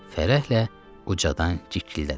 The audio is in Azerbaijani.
Fərəhlə ucadan cik-ciklədi.